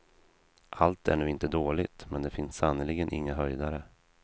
Allt är nu inte dåligt, men det finns sannerligen inga höjdare.